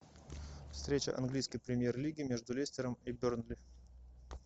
встреча английской премьер лиги между лестером и бернли